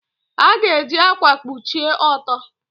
A ga-eji ákwà kpuchie ọtọ.